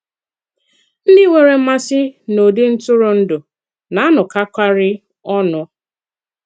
Ndị nwèrè mmasị n’ụ̀dị̀ ntụrụndụ na-anọkọ̀karị ọnụ.